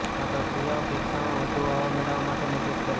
આ ક્રિયાઓ ફેફસામાં વધુ હવા મેળવવા માટે મદદ કરે છે